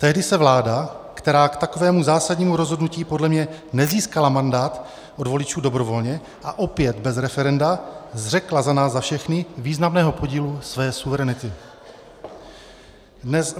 Tehdy se vláda, která k takovému zásadnímu rozhodnutí podle mě nezískala mandát od voličů dobrovolně, a opět bez referenda, zřekla za nás za všechny významného podílu své suverenity.